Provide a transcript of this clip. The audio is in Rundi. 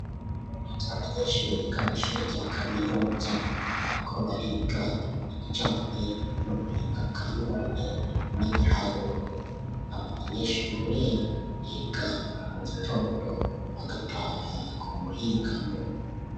Abanyeshuri biga mw'ishuri rya Kaminuza bariko bariga ibijanye n'ubuhinga bwa none n'ibiharuro, aba banyeshure biga mu gitondo bagataha ku muhingamo.